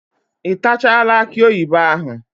Ị tachaala akị oyibo ahụ?